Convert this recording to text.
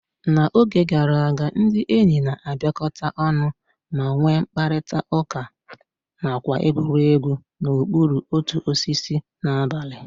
Na oge gara aga, ndị enyi na-abịakọta ọnụ ma nwee mkparịta ụka nakwa egwuregwu n'okpuru otu osisi n'abalị.